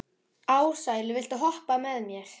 Ársæll, viltu hoppa með mér?